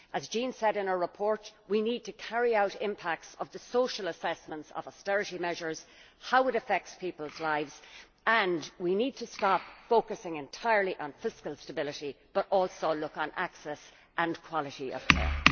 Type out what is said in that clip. As Jean said in her report, we need to carry out assessments of the social impact of austerity measures and how they affect people's lives and we need to stop focusing entirely on fiscal stability and also look at access and quality of care.